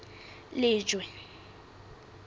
lejwe